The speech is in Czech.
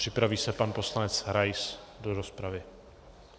Připraví se pan poslanec Rais do rozpravy.